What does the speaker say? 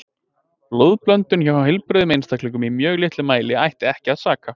Blóðblöndun hjá heilbrigðum einstaklingum í mjög litlum mæli ætti ekki að saka.